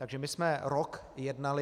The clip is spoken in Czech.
Takže my jsme rok jednali.